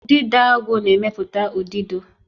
Udidoagu na-emepụta udido